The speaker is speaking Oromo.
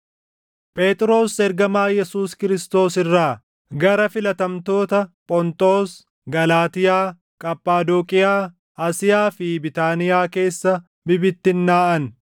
Phexros ergamaa Yesuus Kiristoos irraa, Gara filatamtoota Phonxoos, Galaatiyaa, Qaphadooqiyaa, Asiyaa fi Biitaaniyaa keessa bibittinnaaʼan